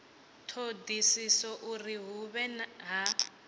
thodisiso uri hu vhe ha